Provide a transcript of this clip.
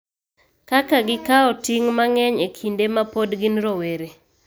Kaka gikawo ting� mang�eny e kinde ma pod gin rowere,